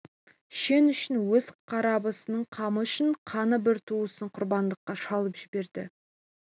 шен үшін өз қарабасының қамы үшін қаны бір туысын құрбандыққа шалып жібереді